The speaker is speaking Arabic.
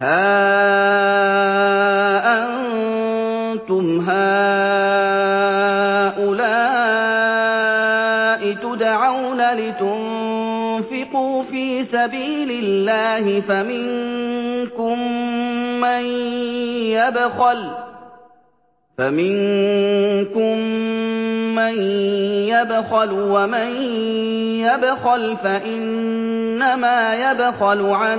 هَا أَنتُمْ هَٰؤُلَاءِ تُدْعَوْنَ لِتُنفِقُوا فِي سَبِيلِ اللَّهِ فَمِنكُم مَّن يَبْخَلُ ۖ وَمَن يَبْخَلْ فَإِنَّمَا يَبْخَلُ عَن